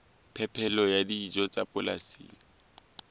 phepelo ya dijo tsa polasing